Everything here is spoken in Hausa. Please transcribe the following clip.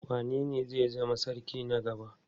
Wanene zai zama sarki na gaba?